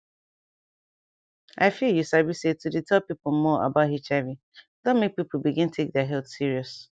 i feel you sabi say to dey tell pipo more about hiv don make people begin take their health serious